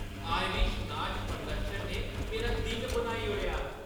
Irish नाच प्रदर्शन ने मेरा दिन बनाई ओड़ेआ।